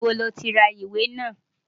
Níbo ni ó ti ra ìwé náà?